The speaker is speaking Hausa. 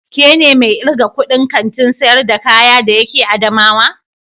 Ke ne mai irgan kudin Kantin sayar da kaya de yake adamawa?